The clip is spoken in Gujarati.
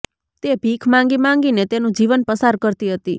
તે ભીખ માંગી માંગી ને તેનું જીવન પસાર કરતી હતી